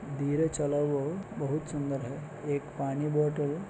धीरे चला वह बहुत सुंदर है एक पानी बॉटल --